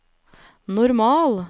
normal